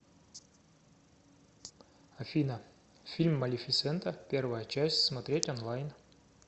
афина фильм малефисента первая часть смотреть онлайн